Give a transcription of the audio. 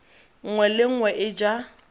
nngwe le nngwe e ja